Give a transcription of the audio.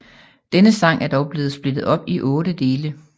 Denne sang er dog blevet splittet op i otte dele